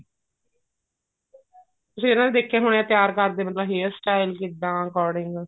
ਤੁਸੀਂ ਫੇਰ ਦੇਖੇ ਹੋਣੇ ਐ ਤਿਆਰ ਕਰਦੇ ਮਤਲਬ hair style ਕਿੱਦਾਂ according